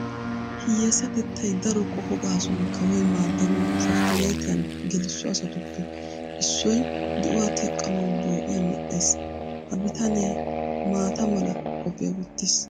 Hiyyeesatettay daro qoho gaasuwan kawoy maaddanawu safttineetiyan gelisso asatuppe issoy di"uwa teqqanawu boo'iya medhdhees. Ha bitanee maata mala qophiya wottiis.